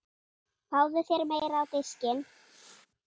Fáðu þér meira á diskinn